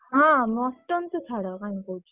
ହଁ mutton ତ ଛାଡ,